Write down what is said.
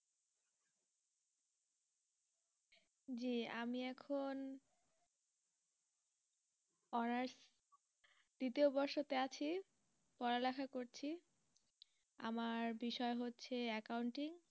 আমি এখন honours দ্বিতীয় বৰ্ষতে আছি পড়ালেখা করছি আমার বিষয় হচ্ছে accounting